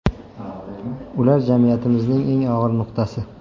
Ular jamiyatimizning eng og‘ir nuqtasi.